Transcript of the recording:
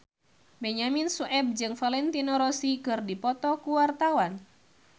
Benyamin Sueb jeung Valentino Rossi keur dipoto ku wartawan